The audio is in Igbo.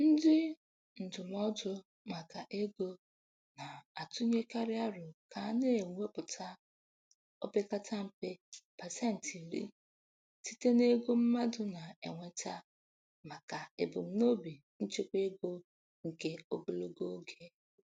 Ndị ndụmọdụ maka ego na-atụnyekarị aro ka a na-ewepụta opekata mpe pasentị iri site n'ego mmadụ na-enweta maka ebumnobi nchekwaego nke ogologo oge.